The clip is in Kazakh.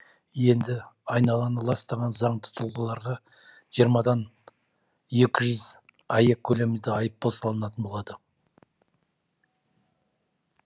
енді айналаны ластаған заңды тұлғаларға жиырмадан екі жүз аек көлемінде айыппұл салынатын болады